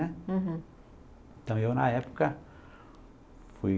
né? Uhum. Então, eu na época fui...